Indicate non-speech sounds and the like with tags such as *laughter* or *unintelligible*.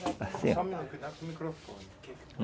*unintelligible* microfone